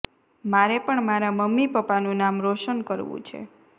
મારે પણ મારા મમ્મી પપ્પાનું નામ રોશન કરવું છે